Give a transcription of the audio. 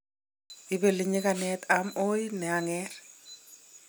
Ibeli nyigane okot om oi niang'er.